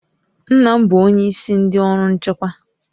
Nna m bụ onyeisi ndị ọrụ nchekwa.